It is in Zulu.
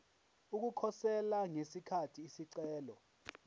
ukukhosela ngesikhathi isicelo